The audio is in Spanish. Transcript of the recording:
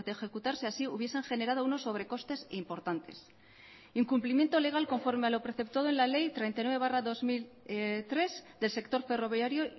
ejecutarse así hubiesen generado unos sobrecostes importantes incumplimiento legal conforme a lo preceptado en la ley treinta y nueve barra dos mil tres del sector ferroviario